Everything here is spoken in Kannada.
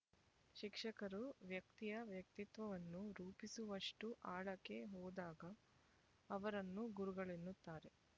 ಶಿಕ್ಷಕರು ವ್ಯಕ್ತಿಯ ವ್ಯಕ್ತಿತ್ವವನ್ನು ರೂಪಿಸುವಷ್ಟು ಆಳಕ್ಕೆ ಹೋದಾಗ ಅವರನ್ನು ಗುರುಗಳೆನ್ನುತ್ತಾರೆ